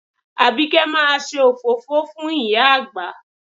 Àbíkẹ́ máa ṣe òfófó fún ìyá àgbà